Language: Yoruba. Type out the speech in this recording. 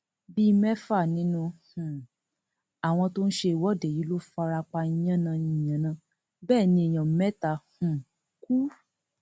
bíi mẹfà nínú um àwọn tó ń ṣe ìwọde yìí ló fara pa yànnà yànnà bẹẹ ni èèyàn mẹta um kú